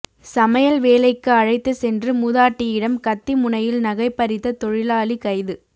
சமையல் வேலைக்கு அழைத்து சென்று மூதாட்டியிடம் கத்தி முனையில் நகை பறித்த தொழிலாளி கைது